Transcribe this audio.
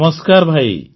ନମସ୍କାର ଭାଇ